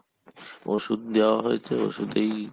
ওষুধ দেয়া হয়েছে, ওষুধেই সেরে গেছে